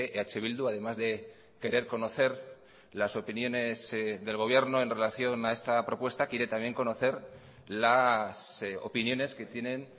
eh bildu además de querer conocer las opiniones del gobierno en relación a esta propuesta quiere también conocer las opiniones que tienen